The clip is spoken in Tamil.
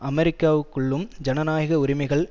அமெரிக்காவுக்குள்ளும் ஜனநாயக உரிமைகள்